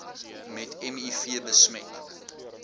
met miv besmet